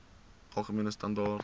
algemene standaar